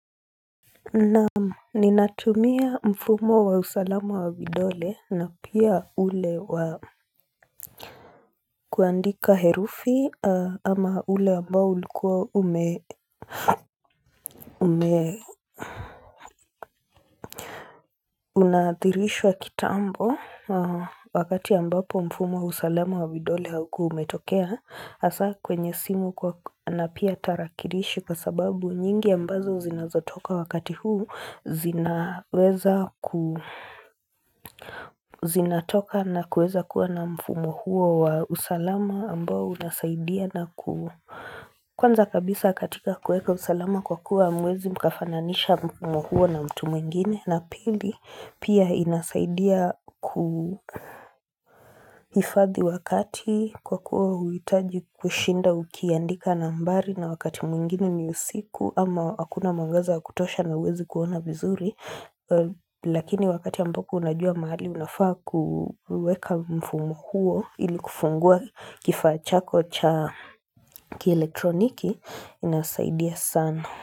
Naam, ninatumia mfumo wa usalama wa vidole, na pia ule wa kuandika herufi ama ule ambao ulikuwa ume unadhirishwa kitambo wakati ambapo mfumo wa usalama wa vidole haukuwa umetokea, hasa kwenye simu na pia tarakilishi kwa sababu nyingi ambazo zinazotoka wakati huu zinatoka na kuweza kuwa na mfumo huo wa usalama ambao unasaidia na kuwa Kwanza kabisa katika kuweka usalama kwa kuwa hamwezi mkafananisha mwuhuo na mtu mwingine na pili pia inasaidia kuhifadhi wakati kwa kuwa huitaji kushinda ukiandika nambari na wakati mwingine ni usiku ama hakuna mwangaza wa kutosha na huwezi kuona vizuri. Lakini wakati ambako unajua mahali unafaa kuweka mfumo huo ili kufungua kifaa chako cha kielektroniki inasaidia sana.